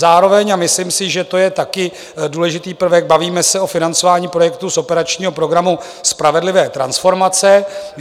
Zároveň, a myslím si, že to je taky důležitý prvek, bavíme se o financování projektu z operačního programu Spravedlivé transformace.